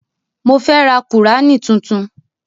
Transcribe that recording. Mo fẹ́ ra qùránì tuntun